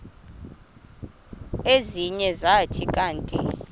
ezinye zathi kanti